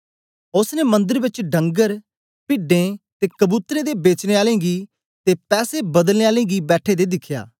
ओसने मंदर बेच डंगर पिड्डें ते कबूतरें दे बेचने आलें गी ते पैसे बदलनें आलें गी बैठे दें दिखया